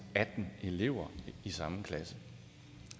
atten elever i samme klasse